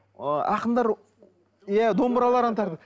ы ақындар иә домбыраларына тағады